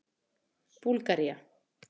Búlgaría